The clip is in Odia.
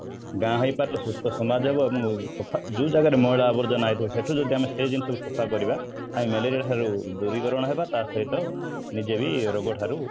ଗାଁ ହେଇପାରେ ସୁସ୍ଥ ସମାଜ ହବ ଏବଂ ଯୋଉ ଜାଗା ରେ ମଇଳା ଆବର୍ଜନା ହେଇଥିବ ସେଠୁ ଯଦି ଆମେ ସେଇ ଜିନିଷ କୁ ସଫା କରିବା ଆଉ ମ୍ୟାଲେରିଆ ଠାରୁ ଦୂରୀକରଣ ହେବା ତା ସହିତ ନିଜେ ବି ରୋଗ ଠାରୁ